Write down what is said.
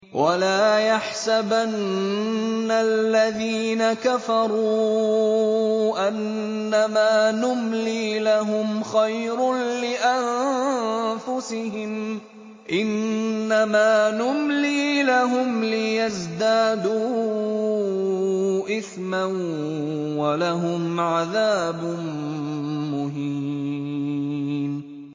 وَلَا يَحْسَبَنَّ الَّذِينَ كَفَرُوا أَنَّمَا نُمْلِي لَهُمْ خَيْرٌ لِّأَنفُسِهِمْ ۚ إِنَّمَا نُمْلِي لَهُمْ لِيَزْدَادُوا إِثْمًا ۚ وَلَهُمْ عَذَابٌ مُّهِينٌ